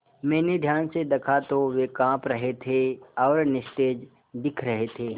मैंने ध्यान से दखा तो वे काँप रहे थे और निस्तेज दिख रहे थे